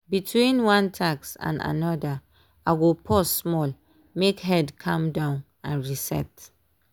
between one task and another i go pause small make head calm down and reset.